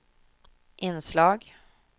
inslag